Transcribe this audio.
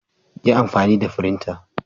Yi amfani da firinta.